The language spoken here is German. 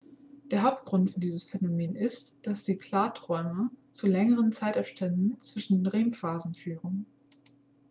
der hauptgrund für dieses phänomen ist dass die klarträume zu längeren zeitabstände zwischen den rem-phasen führen